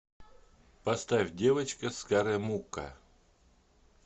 поставь девочка с каре мукка